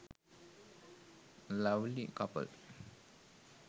lovely couple